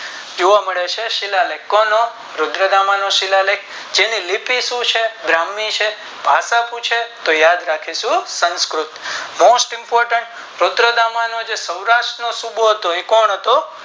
જોવા મળે છે આ શિલાલેખ કોનો રુદ્રતામાંનો શિલાલેખ જેની લિપિ શું છે બ્રહ્માય છે ભાષા શું છે તો યાદ રાખીશું સંસ્કૃત Most important રુદ્રતામાં નો જે સૌરાષ્ટ નો સૂબો હતો એ કોણ હતો.